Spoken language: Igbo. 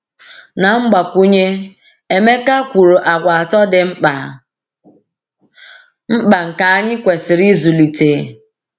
Na mgbakwunye, Emeka kwuru àgwà atọ dị mkpa mkpa nke anyị kwesịrị ịzụlite.